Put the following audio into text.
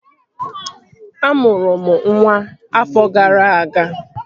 Amụrụ m nwa ọfọ gara aga